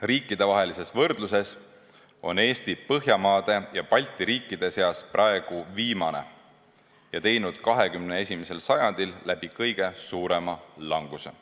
Riikidevahelises võrdluses on Eesti Põhjamaade ja Balti riikide seas praegu viimane ja teinud 21. sajandil läbi kõige suurema languse.